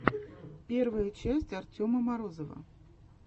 первая часть артема морозова